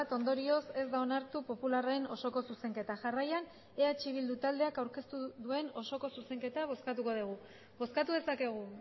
ondorioz ez da onartu popularren osoko zuzenketa jarraian eh bildu taldeak aurkeztu duen osoko zuzenketa bozkatuko dugu bozkatu dezakegu